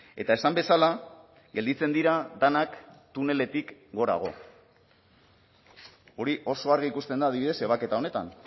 eta esan bezala gelditzen dira denak tuneletik gorago hori oso argi ikusten da adibidez ebaketa honetan